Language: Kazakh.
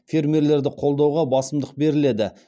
фермерлерді қолдауға басымдық беріледі